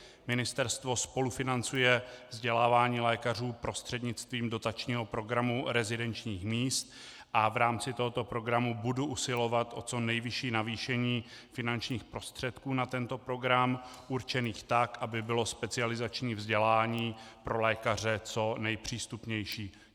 Ministerstvo spolufinancuje vzdělávání lékařů prostřednictvím dotačního programu rezidenčních míst a v rámci tohoto programu budu usilovat o co nejvyšší navýšení finančních prostředků na tento program, určených tak, aby bylo specializační vzdělání pro lékaře co nejpřístupnější.